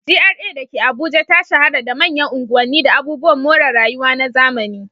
GRA da ke Abuja ta shahara da manyan unguwanni da abubuwan more rayuwa na zamani.